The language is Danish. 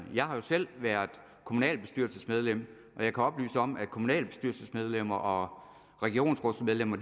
jeg har jo selv været kommunalbestyrelsesmedlem og jeg kan oplyse om at kommunalbestyrelsesmedlemmer og regionsrådsmedlemmer